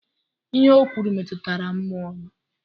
Ihe ọ kwuru metụtara mmụọ m.